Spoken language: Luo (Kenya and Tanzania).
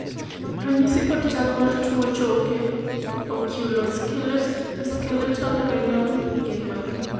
ranyisi kod chal mar tuo choke Oculo skeletal renal gin mage?